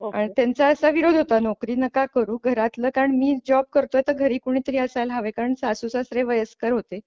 आणि त्यांचा असा विरोध होता नोकरी नका करूं घरातल कारण मी जॉब करतोय तर घरी कुणीतरी असायला हवे कारण सासू सासरे वयस्कर होते.